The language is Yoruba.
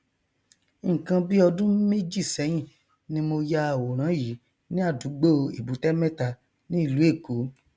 nkan bí ọdún méjì sẹyìn ni mo ya àwòrán yìí ní àdúgbò èbúté mẹta ní ìlú èkó